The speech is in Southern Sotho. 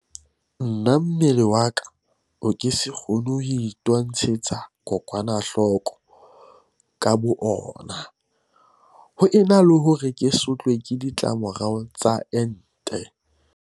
Na mmele wa ka o ke se kgone ho itwantshetsa kokwanahloko ka boona ho ena le hore ke sotlwe ke di tlamorao tsa ente?